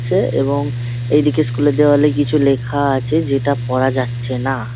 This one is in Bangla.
ছে এবং এদিকে স্কুল -এর দেওয়ালে কিছু লেখা আছে যেটা পরা যাচ্ছে না ।